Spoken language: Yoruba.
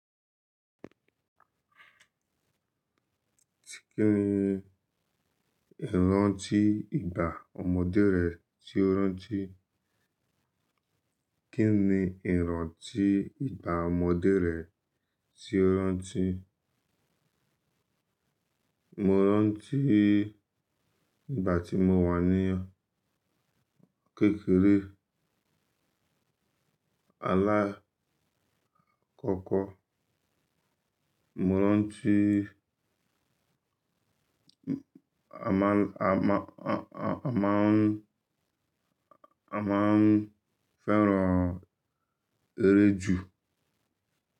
Kíni ìrantí ìgbà ọmọdé rẹ tí ó rántí? Kíni ìran tí ìgbà ọmọdé rẹ tí ó rán tí? Mo rántí ìgbà tí mo wà ní kékeré, alakọ́kọ́. Mo rán tí a máa ń, a máa ń fẹ́ràn eré jù.